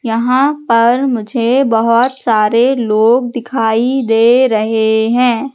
यहां पर मुझे बहोत सारे लोग दिखाई दे रहे हैं।